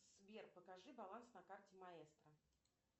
сбер покажи баланс на карте маэстро